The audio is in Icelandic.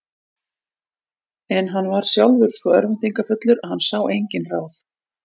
En hann var sjálfur svo örvæntingarfullur að hann sá engin ráð.